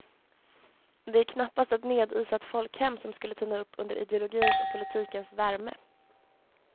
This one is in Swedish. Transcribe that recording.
Det är knappast ett nedisat folkhem som skulle tina upp under ideologins och politikens värme.